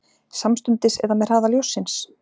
Samstundis eða með hraða ljóssins?